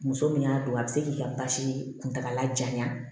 Muso min y'a don a bɛ se k'i ka basi kuntaala janya